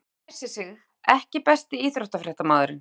þegar hann æsir sig EKKI besti íþróttafréttamaðurinn?